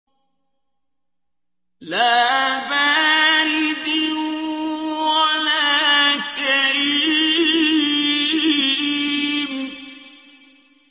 لَّا بَارِدٍ وَلَا كَرِيمٍ